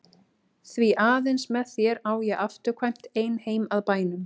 Því aðeins með þér á ég afturkvæmt ein heim að bænum.